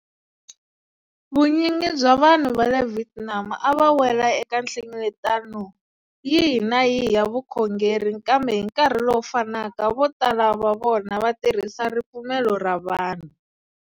Vunyingi bya vanhu va le Vietnam a va wela eka nhlengeletano yihi na yihi ya vukhongeri kambe hi nkarhi lowu fanaka vo tala va vona va tirhisa ripfumelo ra vanhu.